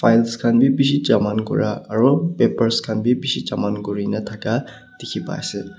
files khan bi bishi jaman kura aru papers khan bi bishi jaman kurina thakia dikhi pai ase.